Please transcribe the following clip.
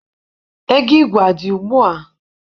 Ego igwe adị ugbua?